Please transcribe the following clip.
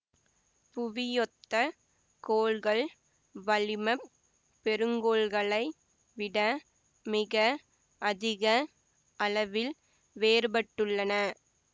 புவியொத்த கோள்கள் வளிமப் பெருங்கோள்களை விட மிக அதிக அளவில் வேறுபட்டுள்ளன